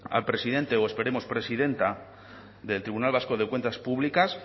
al presidente o esperemos presidenta del tribunal vasco de cuentas públicas